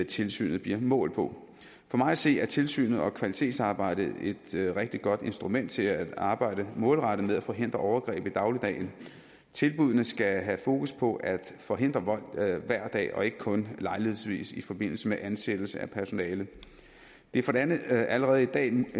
tilsynet bliver målt på for mig at se er tilsynet og kvalitetsarbejdet et rigtig godt instrument til at arbejde målrettet med at forhindre overgreb i dagligdagen tilbuddene skal have fokus på at forhindre vold hver dag og ikke kun lejlighedsvis i forbindelse med ansættelse af personale det er for det andet allerede en